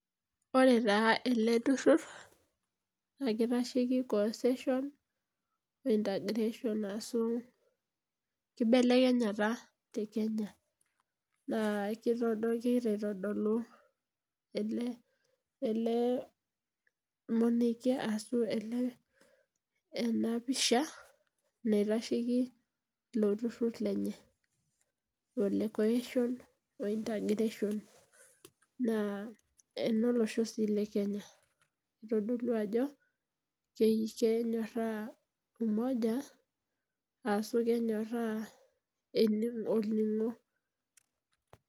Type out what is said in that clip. Ore taa ele turur naa, kitasheki cohesion oh integration ashu kibelekenyata te Kenya. Naa kegira aitodolu ele monokie ashu ele ena pisha naitasheiki ilo turur lenye le cohesion o integration. Naa enolosho sii le Kenya itodolu ajo kenyoraa umoja ashu kenyoraa olningo .